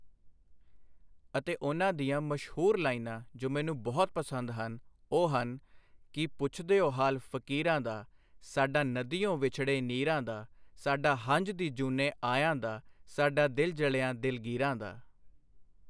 ਅਤੇ ਉਨ੍ਹਾਂ ਦੀਆਂ ਮਸ਼ਹੂਰ ਲਾਈਨਾਂ ਜੋ ਮੈਨੂੰ ਬਹੁਤ ਪਸੰਦ ਹਨ ਉਹ ਹਨ ਕੀ ਪੁੱਛਦਿਉ ਹਾਲ ਫ਼ਕੀਰਾਂ ਦਾ ਸਾਡਾ ਨਦੀਓਂ ਵਿਛੜੇ ਨੀਰਾਂ ਦਾ ਸਾਡਾ ਹੰਝ ਦੀ ਜੂਨੇ ਆਇਆਂ ਦਾ ਸਾਡਾ ਦਿਲ ਜਲਿਆਂ ਦਿਲਗੀਰਾਂ ਦਾ।